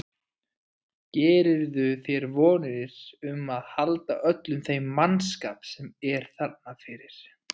Gerirðu þér vonir um að halda öllum þeim mannskap sem er þarna fyrir?